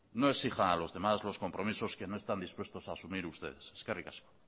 no exija a los demás los compromisos que no están dispuestos a asumir ustedes eskerrik asko